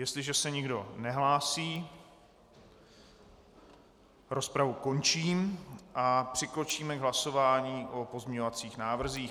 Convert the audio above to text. Jestliže se nikdo nehlásí, rozpravu končím a přikročíme k hlasování o pozměňovacích návrzích.